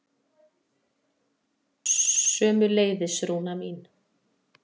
Sömuleiðis, Rúna mín.